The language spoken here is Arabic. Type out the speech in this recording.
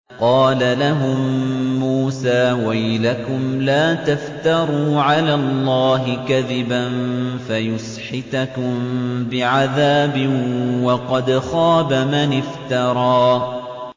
قَالَ لَهُم مُّوسَىٰ وَيْلَكُمْ لَا تَفْتَرُوا عَلَى اللَّهِ كَذِبًا فَيُسْحِتَكُم بِعَذَابٍ ۖ وَقَدْ خَابَ مَنِ افْتَرَىٰ